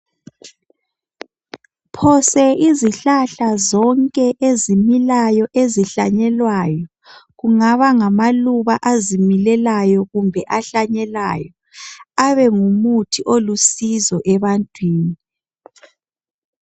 Phose izihlahla zonke ezimilayo ezihlanyelwayo, kungaba ngamaluba azimilelayo kumbe ahlanyelwayo abengumuti olusizo ebantwini.